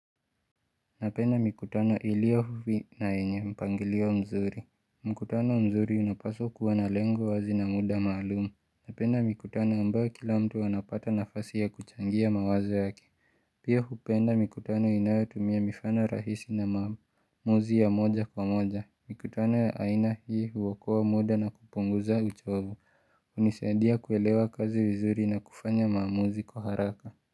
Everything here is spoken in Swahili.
Napenda mikutano iliyo huvi na yenye mpangilio nzuri. Mkutano mzuri unapaswa kuwa na lengo wazi na muda maalumu. Napenda mikutano ambayo kila mtu anapata nafasi ya kuchangia mawazo yake. Pia hupenda mikutano inayotumia mifano rahisi na maamuzi ya moja kwa moja. Mikutano ya aina hii huokoa muda na kupunguza uchovu. Hunisaidia kuelewa kazi vizuri na kufanya maamuzi kwa haraka.